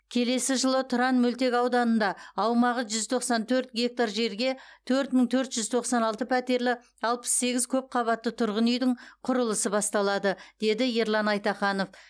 келесі жылы тұран мөлтекауданында аумағы жүз тоқсан төрт гектар жерге төрт мың төрт жүз тоқсан алты пәтерлі алпыс сегіз көп қабатты тұрғын үйдің құрылысы басталады деді ерлан айтаханов